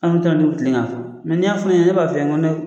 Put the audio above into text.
Anw ta dun bi kilen ka fɔ . n'i ya fɔ ne ɲɛna ne b'a f'i ye